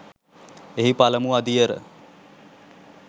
එහි පළමු අදියර